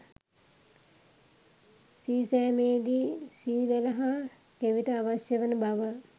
සීසෑමේදී සී වැල හා කෙවිට අවශ්‍ය වන බව